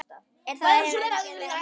Er það endilega málið?